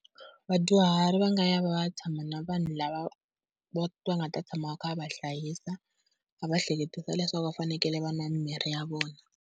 Vadyuhari va nga ya va ya tshama na vanhu lava va, va nga ta tshama va kha va va hlayisa va va ehleketisa leswaku va fanekele va nwa mimirhi ya vona.